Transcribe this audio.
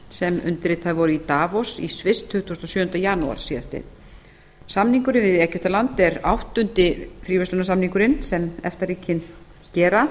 sem undirritaðir voru í davos í sviss tuttugasta og sjöunda janúar síðastliðinn samningurinn við egyptaland er áttundi fríverslunarsamningurinn sem efta ríkin gera